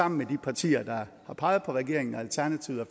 med de partier der har peget på regeringen og alternativet og